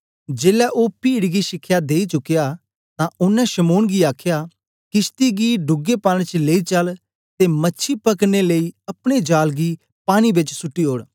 जेलै ओ पीड गी शिखया देई चुकया तां ओनें शमौन गी आखया किशती गी डूगे पानी च लेई चल ते मछी पकड़ने लेई अपने जाल गी पानी बेच सुट्टी ओड़